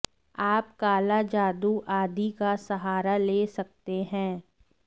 आप काला जादू आदि का सहारा ले सकते हैं